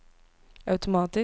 automatisk